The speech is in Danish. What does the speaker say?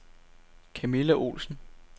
Camilla Olsen